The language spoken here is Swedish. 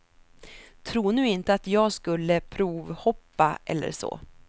Tro nu inte att jag skulle provhoppa eller så.